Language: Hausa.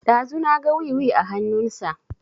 Ɗazu na ga wiwi a hanun sa